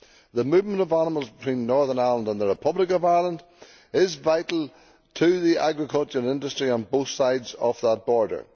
The movement of animals between Northern Ireland and the Republic of Ireland is vital to the agricultural industry on both sides of that border.